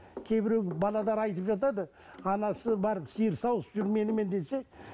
кейбіреу айтып жатады анасы барып сиыр сауыс жүр менімен десе